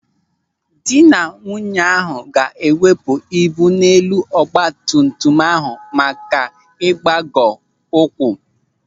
Dị na nwunye ahụ ga-ewepụ ibu n'elu ọgbatumtum ahụ maka ịgbagọ ụkwụ.